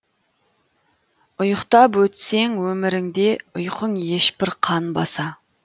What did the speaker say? ұйықтап өтсең өміріңде ұйқың ешбір қанбаса